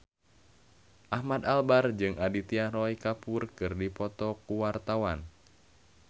Ahmad Albar jeung Aditya Roy Kapoor keur dipoto ku wartawan